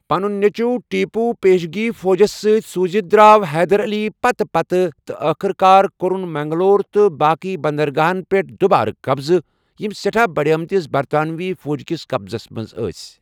پنُن نیٚچوٗ ٹیپو پیشگی فوجس سۭتۍ سوٗزِتھ دراو حیدر علی پتہٕ پتہ تہٕ ٲخٕر کار کوٚرُن منگلور تہٕ باقٕیہ بندرگاہَن پیٹھ دُوبارٕ قبضہٕ یِم سیٹھاہ بڈیمتِس برطانوی فوج کِس قبضس منٛز ٲسۍ ۔